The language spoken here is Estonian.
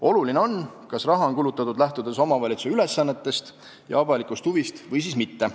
Oluline on, kas raha on kulutatud, lähtudes omavalitsuse ülesannetest ja avalikust huvist või siis mitte.